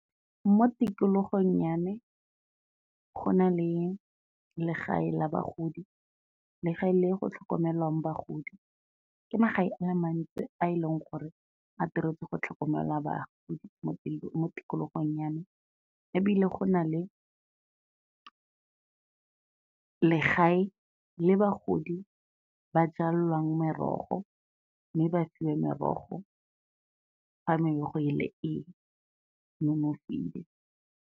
Mo tikologong ya me, go na le legae la bagodi, legae le go tlhokomelwang bagodi. Ke magae a le mantsi a e leng gore a diretswe go tlhokomela bagodi mo tikologong ya me, ebile go na le legae le bagodi ba jalwang merogo, mme ba fiwe merogo fa merogo e le e nonofile.